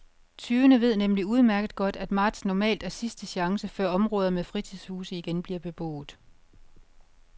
Tyvene ved nemlig udmærket godt, at marts normalt er sidste chance, før områder med fritidshuse igen bliver beboet.